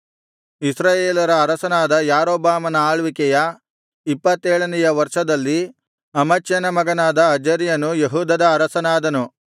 ಇಸ್ರಾಯೇಲರ ಅರಸನಾದ ಯಾರೊಬ್ಬಾಮನ ಆಳ್ವಿಕೆಯ ಇಪ್ಪತ್ತೇಳನೆಯ ವರ್ಷದಲ್ಲಿ ಅಮಚ್ಯನ ಮಗನಾದ ಅಜರ್ಯನು ಯೆಹೂದದ ಅರಸನಾದನು